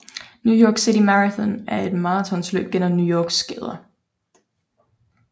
New York City Marathon er et maratonløb gennem New Yorks gader